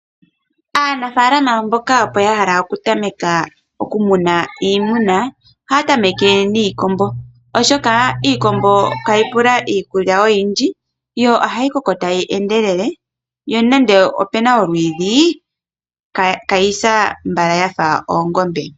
Aanimuna oyendji moshilongo ohaya tameke okumuna ponzu, oshoka oonzi ihadhi pumbwa iikulya oyondji oonzi ohadhi koko mbala, nopethimbo lyokwenye ohadhi vulu okuhupa inayi fa oongombe.